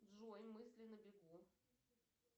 джой мысли на бегу